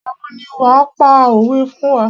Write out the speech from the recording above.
Ìgbà wo ni wàá pa òwé fún wá.